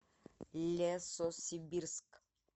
лесосибирск